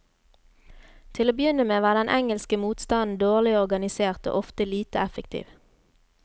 Til å begynne med var den engelske motstanden dårlig organisert og ofte lite effektiv.